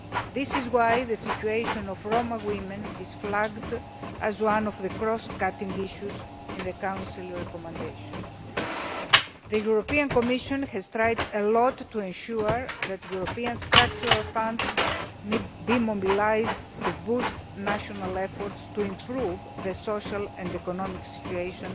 This is why the situation of Roma women is flagged up as being one of the cross cutting issues in the Council recommendation. The European Commission has tried hard to ensure that European structural funds will be mobilised to boost national efforts to improve the social and economic situation